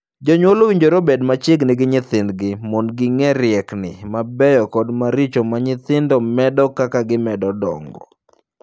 Jonyuol owinjore obed machiegni gi nyithindgi mondo ging'ee riekni mabeyo kod maricho ma nyithindo medo kaka gimedo dongo.